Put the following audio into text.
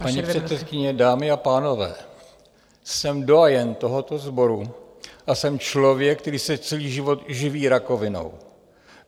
Paní předsedkyně, dámy a pánové, jsem doyen tohoto sboru a jsem člověk, který se celý život živí rakovinou.